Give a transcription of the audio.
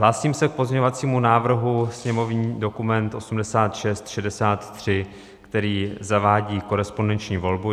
Hlásím se k pozměňovacímu návrhu, sněmovní dokument 8663, který zavádí korespondenční volbu.